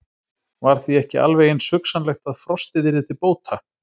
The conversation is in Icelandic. Var því ekki alveg eins hugsanlegt að frostið yrði til bóta?